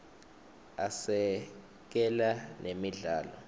asekela nemidlalo